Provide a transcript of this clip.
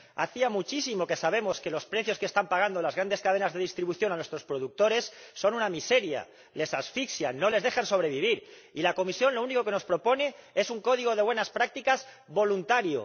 Hacía muchísimo que sabíamos que los precios que están pagando las grandes cadenas de distribución a nuestros productores son una miseria, los asfixian, no les permiten sobrevivir. Y la Comisión lo único que nos propone es un código de buenas prácticas voluntario.